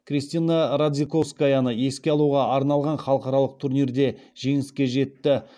кристина радзиковскаяны еске алуға арналған халықаралық турнирінде жеңіске жетті